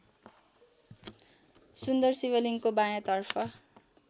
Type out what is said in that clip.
सुन्दर शिवलिङ्गको बायाँतर्फ